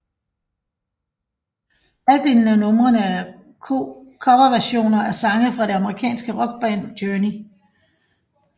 Halvdelen af numrene er coverversioner af sange fra det amerikanske rockband Journey